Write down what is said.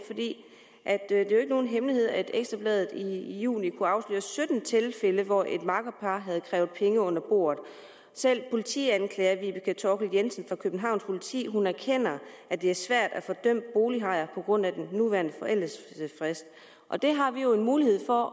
er jo nogen hemmelighed at ekstra bladet i juni kunne afsløre sytten tilfælde hvor et makkerpar havde krævet penge under bordet selv politianklager vibeke thorkil jensen fra københavns politi erkender at det er svært at få dømt bolighajer på grund af den nuværende forældelsesfrist og det har vi jo en mulighed for